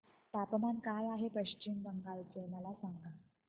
तापमान काय आहे पश्चिम बंगाल चे मला सांगा